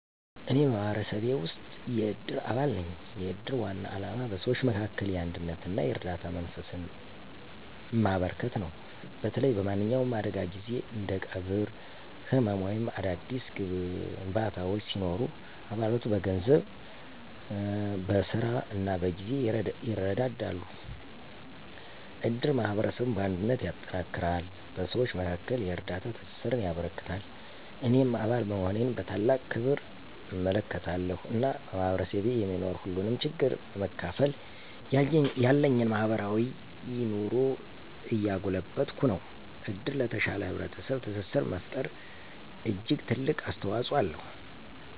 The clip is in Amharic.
እኔ በማህበረሰቤ ውስጥ የእድር አባል ነኝ። የእድር ዋና ዓላማ በሰዎች መካከል የአንድነትና የእርዳታ መንፈስን ማበረከት ነው። በተለይ በማንኛውም አደጋ ጊዜ እንደ ቀብር፣ ሕመም ወይም አዳዲስ ግንባታዎች ሲኖሩ አባላቱ በገንዘብ፣ በሥራ እና በጊዜ ይረዳሉ። እድር ማህበረሰቡን በአንድነት ያጠነክራል፣ በሰዎች መካከል የእርዳታ ትስስርን ያበረክታል። እኔም አባል መሆኔን በታላቅ ክብር እመለከታለሁ፣ እና በማህበረሰቤ የሚኖር ሁሉንም ችግር በመካፈል ያለኝን ማህበራዊ ኑሮ እያጎለበትኩ ነው። እድር ለተሻለ ህብረተሰብ ትስስር መፈጠር እጅግ ትልቅ አስተዋፅኦ አለው።